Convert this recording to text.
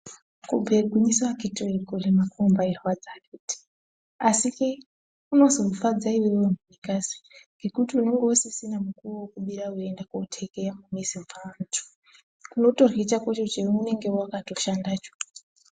Kubhuye gwinyiso akitiwee kurima kunombairwadza akiti. Asikee kunozofadza iwewe munikazi unenge usisina mukuwo wekubira weiende kootekeya mumizi mweantu. Unotorye chakocho chaunonge wakatoshandacho.